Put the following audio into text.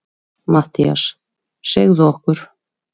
MATTHÍAS: Segðu okkur.